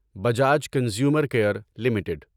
Bajaj consumer care limited